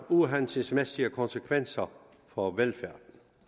uhensigtsmæssige konsekvenser for velfærden